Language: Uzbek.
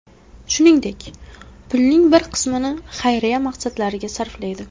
Shuningdek, pulning bir qismini xayriya maqsadlariga sarflaydi.